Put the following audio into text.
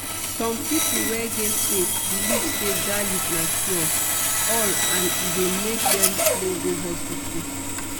some people wey get faith believe say garlic na cure-all and e dey make dem slow go hospital.